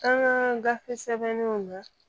An ka gafe sɛbɛnniw na